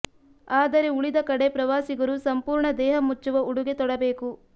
ಆದರೆ ಉಳಿದ ಕಡೆ ಪ್ರವಾಸಿಗರು ಸಂಪೂರ್ಣ ದೇಹ ಮುಚ್ಚುವ ಉಡುಗೆ ತೊಡಬೇಕು